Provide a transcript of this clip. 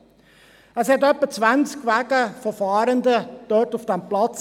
Es hatte etwa 20 Wagen von Fahrenden dort auf dem Platz.